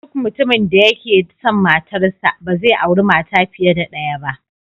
Duk mutumin da yake son matarsa, ba zai auri mata fiye da daya ba.